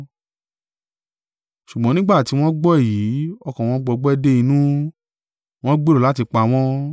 Ṣùgbọ́n nígbà tí wọ́n gbọ́ èyí, ọkàn wọn gbọgbẹ́ dé inú, wọ́n gbèrò láti pa wọ́n.